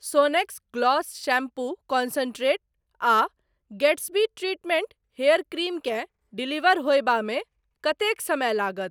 सोनेक्स gloss shampoo concentrate आ Gatsby treatment hair cream केँ deliver होयबामे कतेक समय लागत?